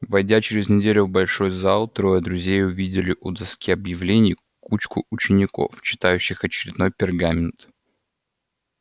войдя через неделю в большой зал трое друзей увидели у доски объявлений кучку учеников читающих очередной пергамент